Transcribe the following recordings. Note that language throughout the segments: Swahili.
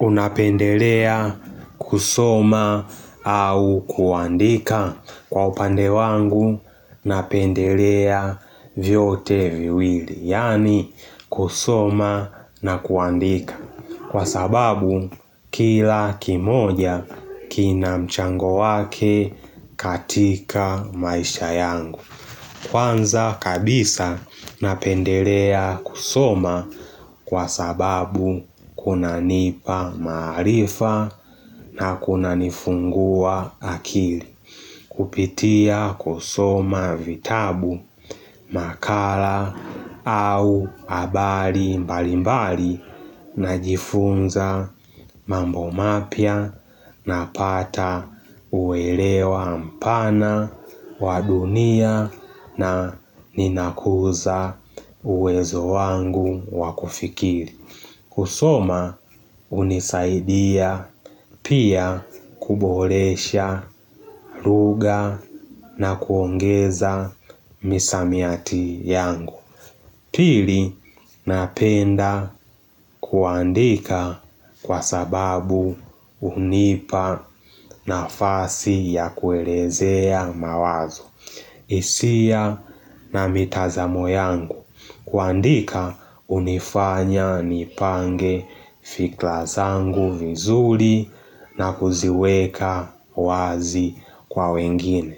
Unapendelea kusoma au kuandika kwa upande wangu, napendelea vyote viwili, yaani kusoma na kuandika. Kwa sababu, kila kimoja kina mchango wake katika maisha yangu. Kwanza kabisa napendelea kusoma kwa sababu kuna nipa maarifa na kuna nifungua akili. Kupitia kusoma vitabu makala au habari mbali mbali na jifunza mambo mapya na pata huelewa mpana wa dunia na ninakuza uwezo wangu wakufikiri. Kusoma hunisaidia pia kuboresha lugha na kuongeza misamiati yangu. Pili napenda kuandika kwa sababu hunipa na fasi ya kuelezea mawazo. Hisia na mitazamo yangu, kuandika hunifanya nipange fikra zangu nzuri na kuziweka wazi kwa wengine.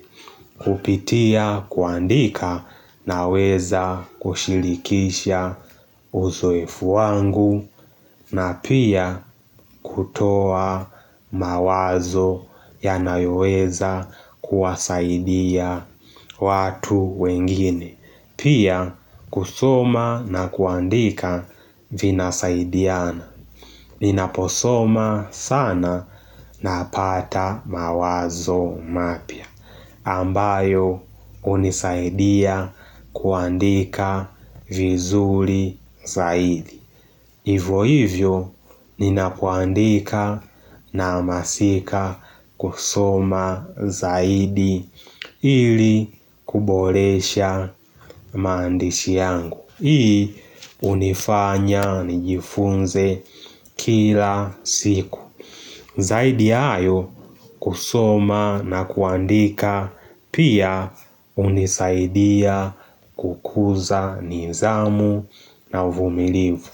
Kupitia kuandika na weza kushirikisha uzoefu wangu na pia kutoa mawazo yanayo weza kuwasaidia watu wengine. Pia kusoma na kuandika vinasaidiana. Ninaposoma sana napata mawazo mapya. Ambayo hunisaidia kuandika vizuri zaidi. Hivyo hivyo ninapo andika na hamasika kusoma zaidi ili kuboresha maandishi yangu. Hii hunifanya nijifunze kila siku. Zaidi ya hayo kusoma na kuandika pia hunisaidia kukuza nizamu na uvumilivu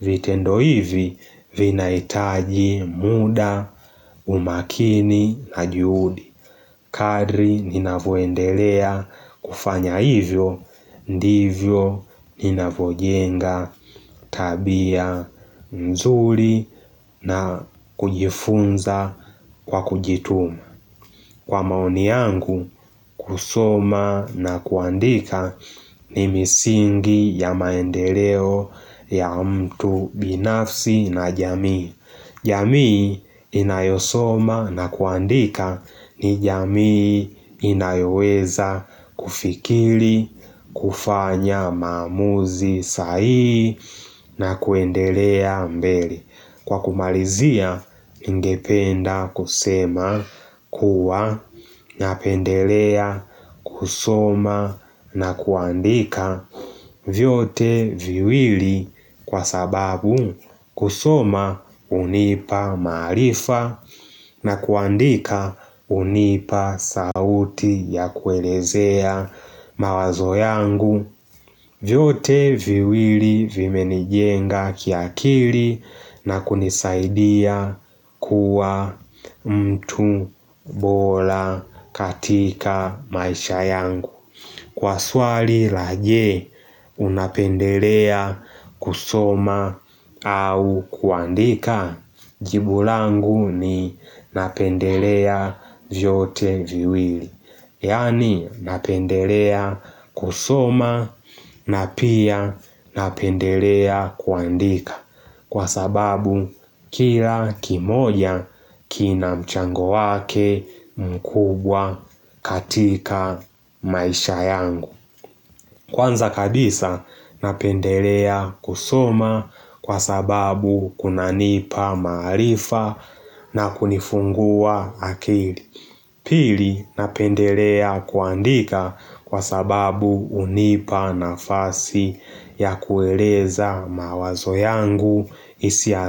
vitendo hivi vinahitaji muda, umakini, na juhudi. Kadri ninavyo endelea kufanya hivyo, ndivyo ninavyo jenga tabia nzuri na kujifunza kwa kujituma. Kwa maoni yangu, kusoma na kuandika ni misingi ya maendeleo ya mtu binafsi na jamii. Jamii inayosoma na kuandika ni jamii inayoweza kufikiri, kufanya, maamuzi, sahihi na kuendelea mbele. Kwa kumalizia, ningependa kusema, kuwa, napendelea, kusoma na kuandika vyote viwili kwa sababu kusoma hunipa maarifa na kuandika hunipa sauti ya kuelezea mawazo yangu vyote viwili vimenijenga kiakili na kunisaidia kuwa mtu bora katika maisha yangu. Kwa swali la je, unapendelea kusoma au kuandika? Jibu langu ni napendelea vyote viwili. Yaani napendelea kusoma na pia napendelea kuandika kwa sababu kila kimoja kina mchango wake mkubwa katika maisha yangu Kwanza kabisa napendelea kusoma kwa sababu kuna nipa maarifa na kunifungua akili. Pili napendelea kuandika kwa sababu hunipa na fasi ya kueleza mawazo yangu hisia.